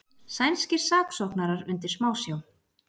Sænskir saksóknarar undir smásjá